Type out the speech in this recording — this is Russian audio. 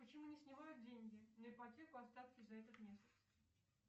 почему не снимают деньги на ипотеку остатки за этот месяц